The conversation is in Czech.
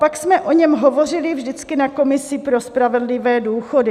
Pak jsme o něm hovořili vždycky na komisi pro spravedlivé důchody.